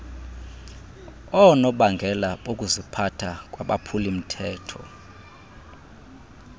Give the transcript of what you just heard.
oonobangela bokuziphatha kwabaphulimthetho